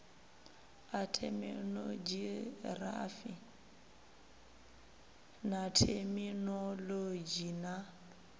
a theminogirafi na theminolodzhi na